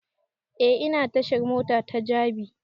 E ina tashar mota ta jabi